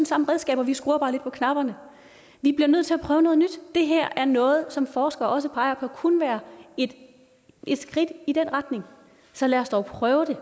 samme redskaber vi skruer bare lidt på knapperne vi bliver nødt til at prøve noget nyt det her er noget som forskere også peger på kunne være et skridt i den retning så lad os dog prøve det